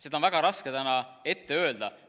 Seda on väga raske täna öelda.